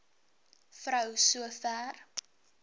vrou so ver